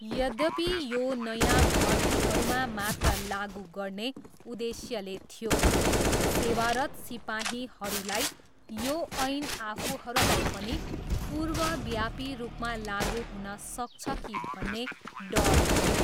यद्यपि यो नयाँ भर्तीहरूमा मात्र लागु गर्ने उद्देश्यले थियो, सेवारत सिपाहीहरूलाई यो ऐन आफूहरूलाई पनि पूर्वव्यापी रूपमा लागु हुन सक्छ कि भन्ने डर थियो।